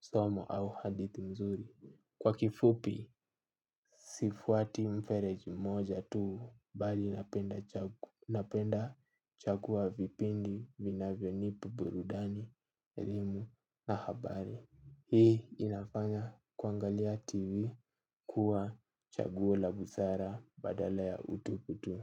somo au hadithi mzuri. Kwa kifupi sifuati mfereji moja tuu bali napenda chagu unapenda chagua vipindi vinavyo nipa burudani, elimu na habari. Hii inafanya kuangalia tv kuwa chaguo la busara badala ya utupu tu.